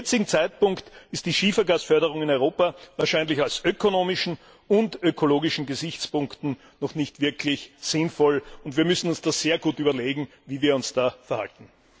Zum jetzigen Zeitpunkt ist die Schiefergasförderung in Europa wahrscheinlich aus ökonomischen und ökologischen Gesichtspunkten noch nicht wirklich sinnvoll, und wir müssen uns sehr gut überlegen, wie wir uns da verhalten.